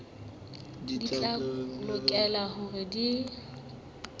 di tla lokela hore di